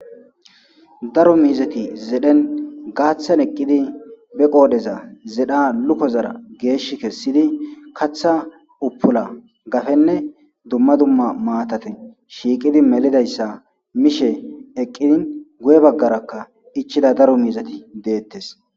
daro miizati zedhen gaaththan eqqidi be qoodheza zedha luko zara geesh kessidi katha uppula gafenne dumma dumma maatate shiiqidi melidayssa mishe eqqidin guye baggarakka ichida daro miizati deettes